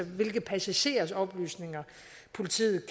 hvilke passagerers oplysninger politiet